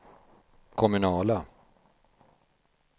kommunala